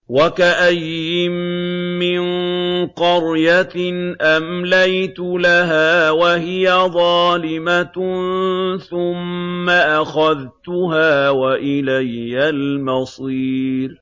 وَكَأَيِّن مِّن قَرْيَةٍ أَمْلَيْتُ لَهَا وَهِيَ ظَالِمَةٌ ثُمَّ أَخَذْتُهَا وَإِلَيَّ الْمَصِيرُ